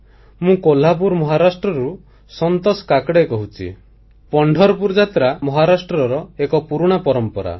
ମୁଁ କୋହ୍ଲାପୁର ମହାରାଷ୍ଟ୍ରରୁ ସନ୍ତୋଷ କାକଡ଼େ କହୁଛି ପଣ୍ଢରପୁର ଯାତ୍ରା ମହାରାଷ୍ଟ୍ରର ଏକ ପୁରୁଣା ପରମ୍ପରା